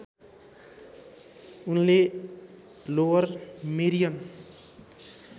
उनले Lower Merion